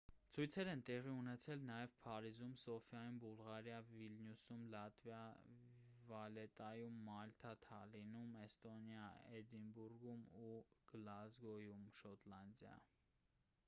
ցույցեր են տեղի ունեցել նաև փարիզում սոֆիայում բուլղարիա վիլնյուսում լիտվա վալետայում մալթա թալինում էստոնիա և էդինբուրգում ու գլազգոյում շոտլանդիա